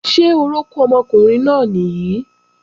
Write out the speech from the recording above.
Ṣé orókún ọmọkùnrin náà nìí?